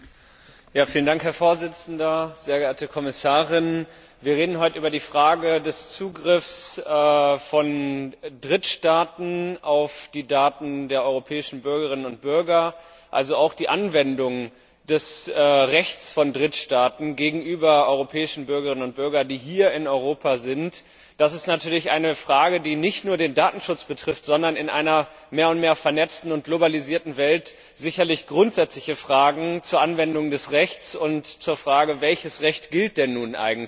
Herr Präsident, sehr geehrte Kommissarin! Wir reden heute über die Frage des Zugriffs von Drittstaaten auf die Daten der europäischen Bürgerinnen und Bürger, also auch die Anwendung des Rechts von Drittstaaten auf europäische Bürgerinnen und Bürger, die hier in Europa sind. Das ist natürlich eine Frage, die nicht nur den Datenschutz betrifft, sondern in einer mehr und mehr vernetzten und globalisierten Welt sicherlich auch grundsätzliche Fragen zur Anwendung des Rechts sowie Fragen, welches Recht denn nun eigentlich gilt.